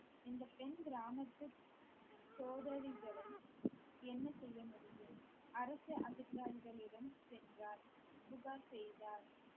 இந்த பெண் கிராமத்து சகோதரிகளை என்ன செய்ய முடியும் அரசு அதிகாரிகளிடம் சென்றார் புகார் செய்தார்